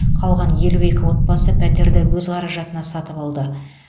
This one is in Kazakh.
қалған елу екі отбасы пәтерді өз қаражатына сатып алды